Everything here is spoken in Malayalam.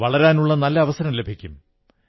വളരാനുള്ള നല്ല അവസരം ലഭിക്കും